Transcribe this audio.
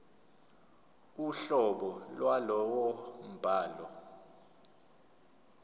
uhlobo lwalowo mbhalo